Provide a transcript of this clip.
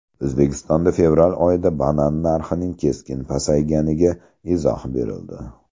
O‘zbekistonda fevral oyida banan narxining keskin pasayganiga izoh berildi.